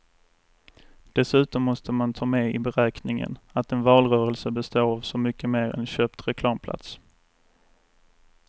Dessutom måste man ta med i beräkningen att en valrörelse består av så mycket mer än köpt reklamplats.